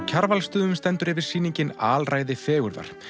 Kjarvalsstöðum stendur yfir sýningin alræði fegurðar